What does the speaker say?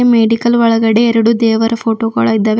Medical ಒಳಗಡೆ ಎರಡು ದೇವರ ಫೋಟೊ ಗಳಿದವೆ.